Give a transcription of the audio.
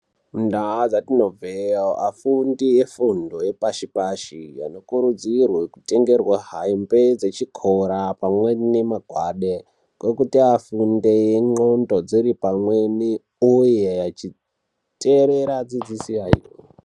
Mundau dzatinobva afundi efundo dzepashi pashi anokurudzirwa kutengerwa hembe dzechikora pamwe nemagwada ekuti vafunde ndxondo dziripamwe uye vachiterera dzidziso yavo.